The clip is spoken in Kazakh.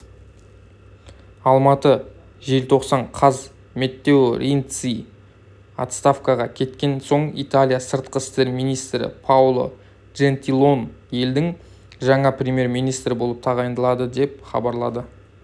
алматы желтоқсан қаз маттео ренци отставкаға кеткен соң италия сыртқы істер министрі паоло джентилоне елдің жаңа премьер-министрі болып тағайындалды деп хабарлады